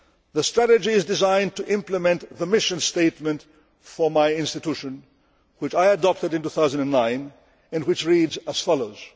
The strategy is designed to implement the mission statement for my institution which I adopted in 2009 and which reads as follows.